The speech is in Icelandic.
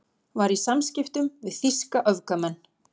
Var í samskiptum við þýska öfgamenn